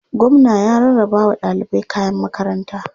Gwamna ya rarrabawa ɗalibai kayan makaranta.